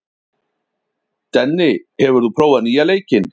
Denni, hefur þú prófað nýja leikinn?